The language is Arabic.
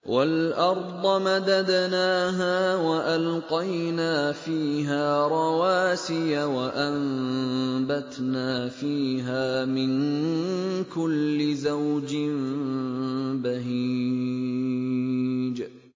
وَالْأَرْضَ مَدَدْنَاهَا وَأَلْقَيْنَا فِيهَا رَوَاسِيَ وَأَنبَتْنَا فِيهَا مِن كُلِّ زَوْجٍ بَهِيجٍ